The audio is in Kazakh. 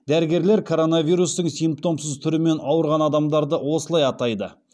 дәрігерлер коронавирустың симптомсыз түрімен ауырған адамдарды осылай атайды